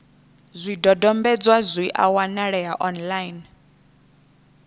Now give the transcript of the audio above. zwidodombedzwa zwi a wanalea online